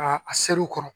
A a seru kɔrɔ